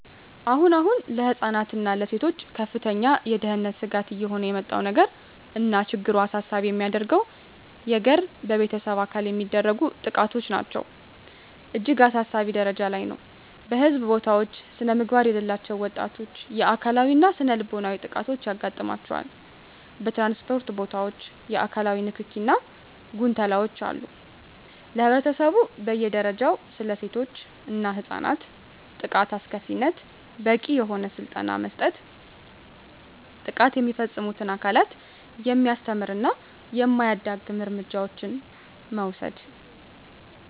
አሁን አሁን ለህፃናት እና ለሴቶች ከፍተኛ የደህንነት ስጋት እየሆነ የመጣው ነገር እና ችግሩን አሳሳቢ የሚያደርገው የገር በቤተሰብ አካል የሚደረጉ ጥቃቶች ናቸው እጅግ አሳሳቢ ጀረጃ ላይ ነው በህዝብ ቦታውች ስነምግባር የሌላቸው ወጣቶች የአካላዊ እና ስነልቦናዊ ጥቃቶች ያጋጥማቸዋል በትራንስፖርት ቦታወች የአካላዊ ንክኪ እና ጉንተላወች አሉ ለህብረተሰቡ በየ ደረጃው ስለሴቶች እና ህፃናት ጥቃት አስከፊነት በቂ የሆነ ስልጠና መስጠት ጥቃት የሚፈፅሙትን አካላት የሚያስተምር እና የማያዳግም እርምጃዎችን መውሰድ።